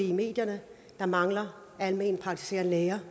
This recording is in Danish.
i medierne der mangler alment praktiserende læger